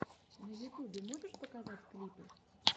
на ютубе можешь показать клипы